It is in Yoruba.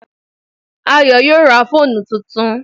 Ayọ̀ yóò ra fóònù tuntun